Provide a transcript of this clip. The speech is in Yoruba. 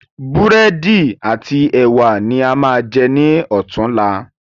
Búrẹ́dì ati ẹwà ni a máa jẹ ní ọ̀tunla.